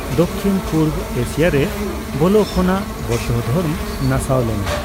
ᱫᱷᱚᱠᱠᱤᱱᱼ ᱯᱩᱨᱵᱚ ᱮᱥᱤᱭᱟ ᱨᱮ ᱵᱚᱞᱚ ᱠᱷᱚᱱᱟᱜ ᱵᱳᱫᱽᱫᱷᱚ ᱫᱷᱚᱨᱢᱚ ᱱᱟᱥᱟᱣ ᱞᱮᱱᱟ ᱾